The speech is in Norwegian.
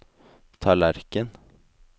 tallerken